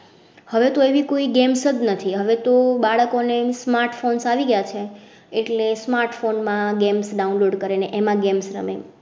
હવે કોઈ games નથી. હવે તો બાળકો ને smart phones આવી ગયા છે એટલે smart phone માં games download કરેં ને એમાં games રમે